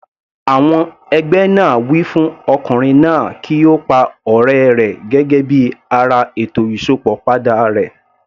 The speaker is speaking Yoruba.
Àwọn ẹgbẹ́ náà wí fún Ọkùnrin náà kí ó pa ọ̀rẹ́ rẹ̀ gẹ́gẹ́ bí ara ètò Ìsópọ̀ padà rẹ̀.